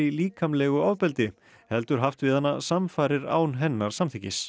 líkamlegu ofbeldi heldur haft við hana samfarir án hennar samþykkis